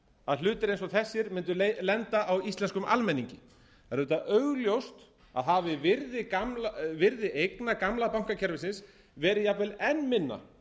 að hlutir eins og þessir mundu lenda á íslenskum almenningi það er auðvitað augljóst að hafi virði eigna gamla bankakerfisins verið jafnvel enn minna